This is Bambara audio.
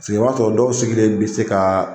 Sigi yɔrɔ tɔ dɔw sigilen be se ka